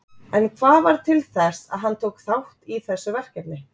En hvað varð til þess að hann tók þátt í þessu verkefni?